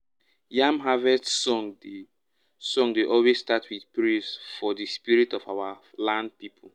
yam harvest song dey song dey always um start with praise for um the spirit of our land people.